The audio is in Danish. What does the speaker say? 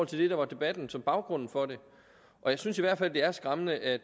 til det der var debatten som baggrund for det jeg synes i hvert fald det er skræmmende at